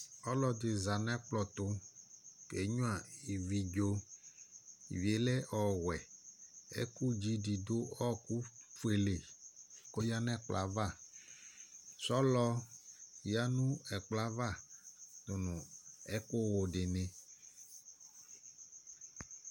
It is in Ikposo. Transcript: Ɔlɔdɩ za nʋ ɛkplɔ ɛtʋ kenyuǝ ividzo Ivi yɛ lɛ ɔwɛ Ɛkʋdzi dɩ dʋ ɔɣɔkʋ fuele li kʋ ɔyǝ nʋ ɛkplɔ yɛ ava Sɔlɔ yǝ nʋ ɛkplɔ yɛ ava dʋ nʋ ɛkʋwʋ dɩnɩ